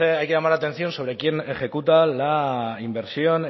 hay que llamar la atención sobre quien ejecuta